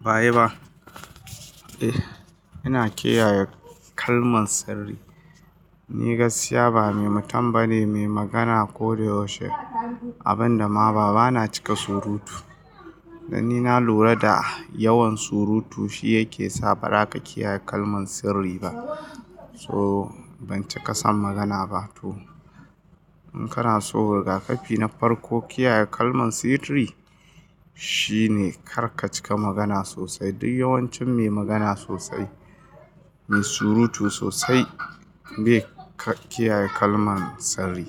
Ba ayi ba. Eh, ina kiyaye kalman sirri. Ni gaskiya ba mai mutum bane ne, mai magana ko da yaushe. Abin da ma bana cika surutu. Dan ni na lura da yawan surutu shi yake sa ba ra ka kiyaye kalman sirri ba. So ban cika son magana ba to in kana so rigakafi na farko kiyaye kalman sirri shine kar ka cika magana sosai. Duk yawancin mai magana sosai, mai surutu sosai bai kiyaye kalman sirri.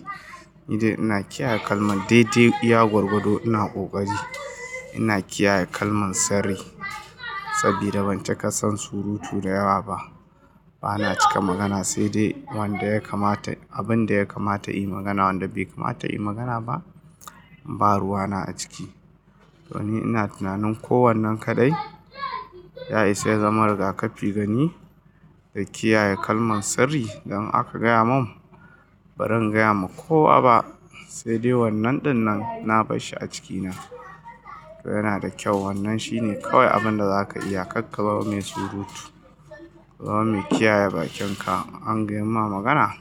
Ni dai ina kiyaye kalman daidai iya gwagwado ina kokari. Ina kiyaye kalman sirri sabida ban cika son surutu da yawa ba. Bana cika magana sai dai wanda ya kamata. Abin da ya kamata in yi magana wanda bai kamata in yi magana ba, ba ruwa na a ciki. To ni ina tunanin ko wannan kaɗai ya isa ya zama rigakafi gani da kiyaye kalman sirri. Dan in aka gaya mun, baran gaya ma kowa ba sai dai wannan ɗinnan na bar shi a cikina. To yana da kyau wannan shine kawai abin da za ka iya kar ka zama mai surutu. Ka zama mai kiyaye bakinka. In an gayan ma magana,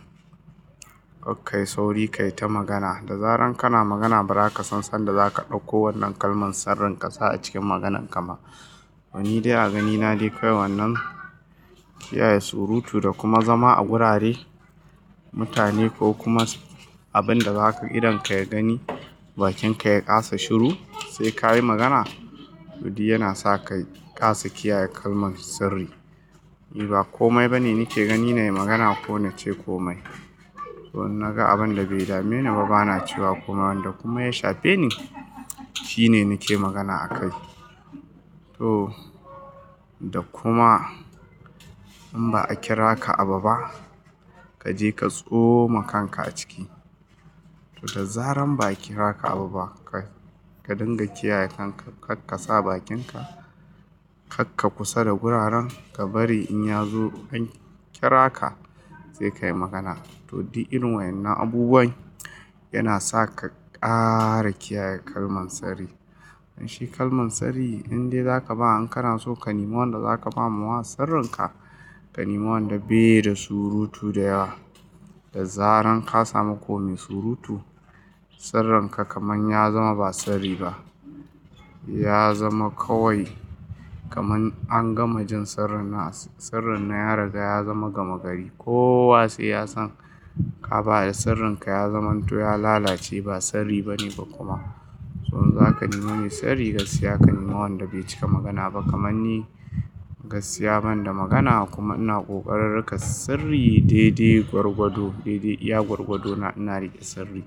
kar kai sauri kai ta magana. Da zaran kana magana bara ka san sanda za ka ɗauko wannan kalman sirrin ƙasa a cikin maganan ka ma. To ni dai a ganina dai kawai wannan kiyaye surutu da kuma zama a gurare mutane ko kuma abin da za ka idon ka ya gani bakin ka ya ƙasa shiru sai ka yi magana. To du yana sa ka ƙasa kiyaye kalman sirri. Ni ba komai ba ne, ni ke gani na yi magana ko na ce kome. To in naga abin da bai dame ni ba bana cewa komai wanda kuma ya shafe ni, shi ne nake magana a kai. To da kuma in ba a kira ka abu ba kaje ka tsoma kanka a ciki. To da zaran ba a kira ka abu ba ka dinga kiyaye kanka kar ka sa bakinka. Kakka kusa da guraren ka bari in ya zo an kira ka sai kai magana. To du irin wayannan abubuwan yana sa ka ƙara kiyaye kalman sirri. Don shi kalman sirri in dai za ka ba in kana so ka nima wanda za ka ba ma wa sirrin ka, ka nima wanda bai da surutu da yawa. Da zaran ka samu ko me surutu sirrin ka kaman ya zama ba sirri ba. Ya zama kawai kaman an gama jin sirrin sirrin nan ya riga ya zama gama gari. Ko wa sai ya san ka ba da sirrin ka ya zamanto ya lalace ba sirri ba ne ba kuma. To in za ka nima me sirri gaskiya ka nima wanda bai cika magana ba kaman ni gaskiya ban da magana kuma ina kokararin rika sirri daidai gwargwado daidai iya gwargwado na ina riƙe sirri.